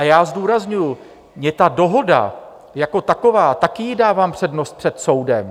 A já zdůrazňuji, mě ta dohoda jako taková, také jí dávám přednost před soudem.